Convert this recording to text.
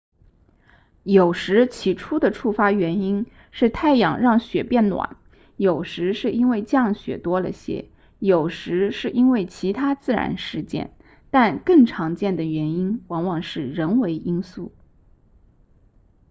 有时起初的触发原因是太阳让雪变暖有时是因为降雪多了些有时是因为其他自然事件但更常见的原因往往是人为因素